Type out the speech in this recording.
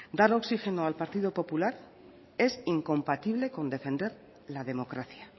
dar oxigeno al partido popular es incompatible con defender la democracia